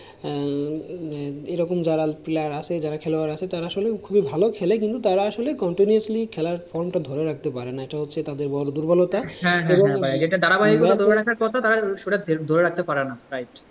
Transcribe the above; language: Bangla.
এ রকম যারা player আসেলে যারা খেলোয়াড় আসে আসলে খুবই ভালো খেলে। কিন্তু তারা আসলে contniously খেলার from টা ধরে রাখতে পারেনা। এটাই হচ্ছে তাদের বড় দুর্বলতা।